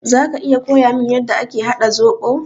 Zaka iya koyamin yanda ake haɗa zoɓo?